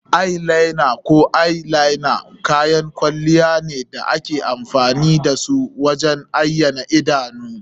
Eye liner ko eyeliner kayan kwalliya ne da ake amfani da su wajen ayyana idanu.